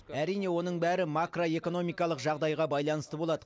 әрине оның бәрі макроэкономикалық жағдайға байланысты болады